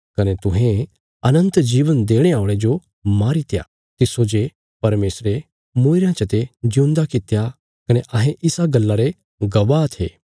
कने तुहें अनन्त जीवन देणे औल़े जो मारीत्या तिस्सो जे परमेशरे मूईरेयां चते ज्यूंदा कित्या कने अहें इसा गल्ला रे गवाह थे